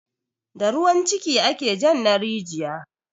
Da ruwan ciki ake jan na rijiya